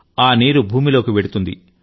ఆ నీరు భూమిలోకి వెళుతుంది